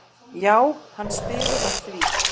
Já, hann spyr að því?